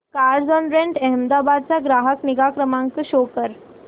Carzonrent Ahmedabad चा ग्राहक निगा नंबर शो कर